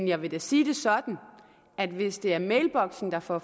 jeg vil da sige det sådan at hvis det er mailboksen der får